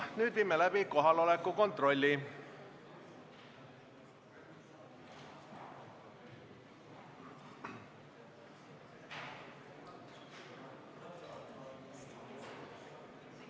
Nüüd viime läbi kohaloleku kontrolli.